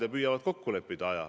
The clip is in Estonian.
Nad püüavad aja kokku leppida.